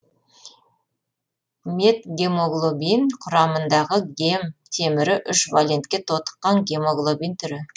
метгемоглобин құрамындағы гем темірі үш валентке тотыққан гемоглобин түрі